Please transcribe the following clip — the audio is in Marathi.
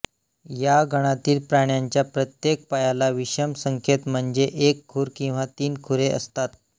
या गणातील प्राण्यांच्या प्रत्येक पायाला विषम संख्येत म्हणजे एक खुर किंवा तीन खुरे असतात